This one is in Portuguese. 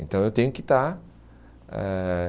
Então eu tenho que estar. Ãh